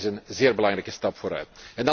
Ook dat is een zeer belangrijke stap vooruit.